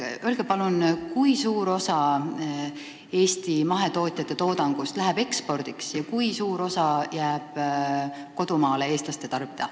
Öelge palun, kui suur osa Eesti mahetootjate toodangust läheb ekspordiks ja kui suur osa jääb kodumaale, eestlaste tarbida.